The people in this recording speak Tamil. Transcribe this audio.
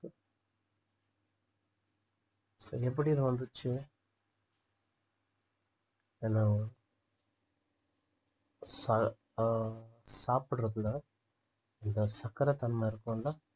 so எப்படி அது வந்துச்சு hello சா~ ஆஹ் சாப்பிடுறதுல அந்த சக்கரத்தன்மை இருக்கும்ல